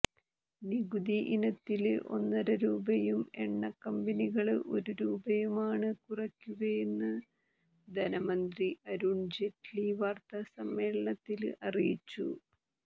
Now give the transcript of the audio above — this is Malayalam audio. നികുതി ഇനത്തില് ഒന്നര രൂപയും എണ്ണ കമ്പനികള് ഒരു രൂപയുമാണ് കുറയ്ക്കുകയെന്ന് ധനമന്ത്രി അരുണ് ജെയ്റ്റ്ലി വാര്ത്താസമ്മേളനത്തില് അറിയിച്ചു